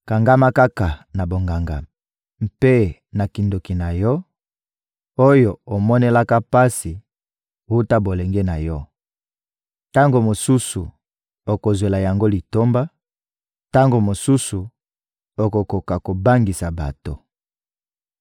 Kangama kaka na bonganga mpe na kindoki na yo, oyo omonelaka pasi wuta bolenge na yo! Tango mosusu okozwela yango litomba, tango mosusu okokoka kobangisa bato.